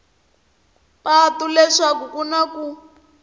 patu leswaku ku na ku